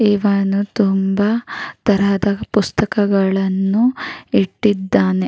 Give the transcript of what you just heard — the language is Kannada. ಇವನು ತುಂಬಾ ತರಹದ ಪುಸ್ತಕಗಳನ್ನು ಇಟ್ಟಿದ್ದಾನೆ.